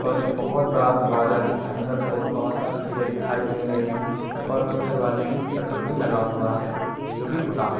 और एक बहोत बड़ा दरवाज़ा है जिसमें अंदर की ओर बहोत सारी चीज़े दिखाई दे रही है और उस दरवाजे में शटर भी लगा हुआ है जोकि खुला है।